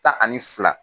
Tan ani fila